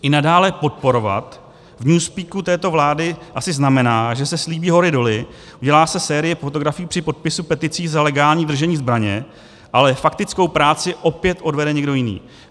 I "nadále podporovat" v newspeaku této vlády asi znamená, že se slíbí hory doly, udělá se série fotografií při podpisu peticí za legální držení zbraně, ale faktickou práci opět odvede někdo jiný.